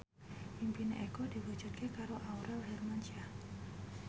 impine Eko diwujudke karo Aurel Hermansyah